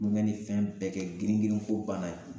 Kulongɛ ni fɛn bɛɛ kɛ girin girin ko bana yen